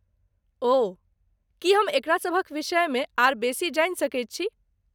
ओह, की हम एकरा सभक विषयमे आर बेसी जानि सकैत छी?